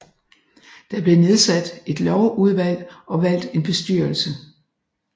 Der blev nedsat et lovudvalg og valgt en bestyrelse